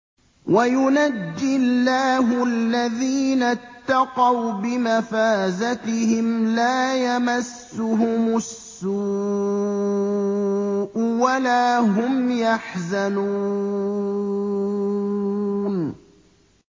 وَيُنَجِّي اللَّهُ الَّذِينَ اتَّقَوْا بِمَفَازَتِهِمْ لَا يَمَسُّهُمُ السُّوءُ وَلَا هُمْ يَحْزَنُونَ